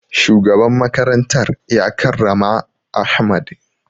Shugaban makarantar ya karrama ahmad